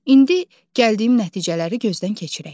İndi gəldiyim nəticələri gözdən keçirək.